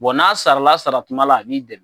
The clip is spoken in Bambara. n'a sarala saratuma la a b'i dɛmɛ